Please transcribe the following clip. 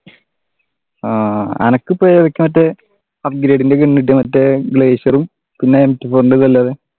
ആഹ് അനക്കിപ്പോ ഏതൊക്കെ മറ്റേ upgrading ഒക്കെ ഉണ്ട് മറ്റേ glacier ഉം പിന്നെ